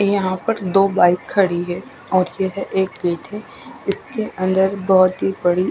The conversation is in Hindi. यह पर दो बाइक खड़ी है और फिर एक इसके अन्दर बोहोत ही बड़ी--